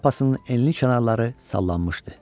Şlyapasının enli kənarları sallanmışdı.